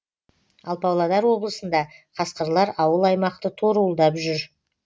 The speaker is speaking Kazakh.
ал павлодар облысында қасқырлар ауыл аймақты торуылдап жүр